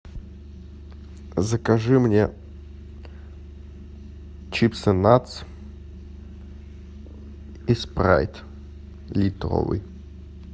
закажи мне чипсы натс и спрайт литровый